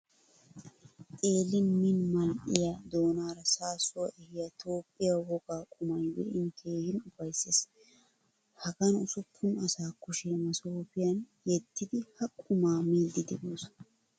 Xeelin min mal'iyaa doonara saasuwaa ehiyaa Toophphiyaa wogaa qumay be'ini keehin ufaysees. Hagaan usuppun asa kushe masopiyan yedidi ha qumaa miidi deosona.